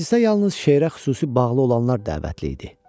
Məclisə yalnız şeirə xüsusi bağlı olanlar dəvətli idi.